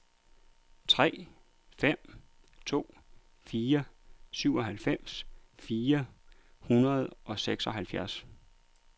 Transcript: tre fem to fire syvoghalvfems fire hundrede og seksoghalvtreds